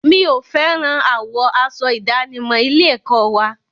Mi ò fẹ́ràn àwọ̀ aṣọ ìdánimọ̀ ilé-ẹ̀kọ́ wa.